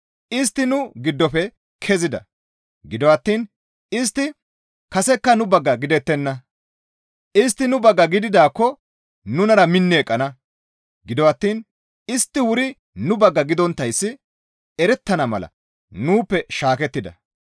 Istti nu giddofe kezida; gido attiin istti kasekka nu bagga gidettenna; istti nu bagga gididaakko nunara minni eqqana; gido attiin istti wuri nu bagga gidonttayssi erettana mala nuuppe shaakettida.